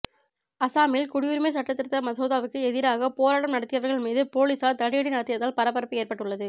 அஸ்ஸாமில் குடியுரிமை சட்டத் திருத்த மசோதாவுக்கு எதிராக போராட்டம் நடத்தியவர்கள் மீது போலீசார் தடியடி நடத்தியதால் பரபரப்பு ஏற்பட்டுள்ளது